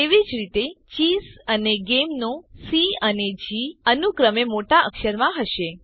તેવી જ રીતે ચેસ અને ગેમ નો સી અને જી અનુક્રમે મોટા અક્ષરમાં હશે